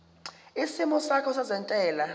isimo sakho sezentela